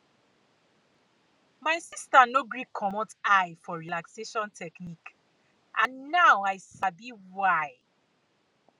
my sister no gree commot eye for relaxation technique and now i sabi why